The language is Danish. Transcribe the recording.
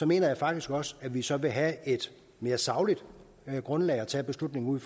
mener faktisk også at vi så vil have et mere sagligt grundlag at tage beslutningen